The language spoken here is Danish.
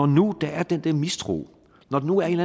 nu er den der mistro når der nu er en